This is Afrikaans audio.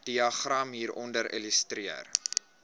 diagram hieronder illustreer